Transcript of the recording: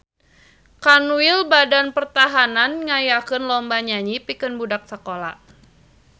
Kanwil Badan Pertahanan ngayakeun lomba nyanyi pikeun budak sakola